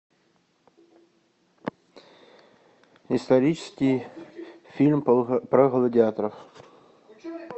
исторический фильм про гладиаторов